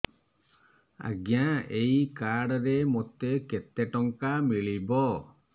ଆଜ୍ଞା ଏଇ କାର୍ଡ ରେ ମୋତେ କେତେ ଟଙ୍କା ମିଳିବ